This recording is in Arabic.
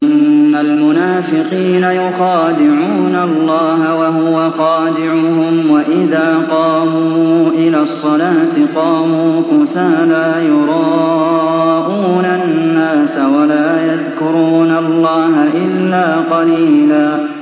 إِنَّ الْمُنَافِقِينَ يُخَادِعُونَ اللَّهَ وَهُوَ خَادِعُهُمْ وَإِذَا قَامُوا إِلَى الصَّلَاةِ قَامُوا كُسَالَىٰ يُرَاءُونَ النَّاسَ وَلَا يَذْكُرُونَ اللَّهَ إِلَّا قَلِيلًا